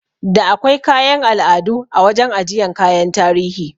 Da akwai kayan al'adu a wajan ajiyan kayan tarihi